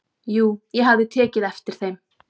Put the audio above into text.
"""Jú, ég hafði tekið eftir þeim."""